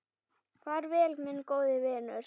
Far vel, minn góði vinur.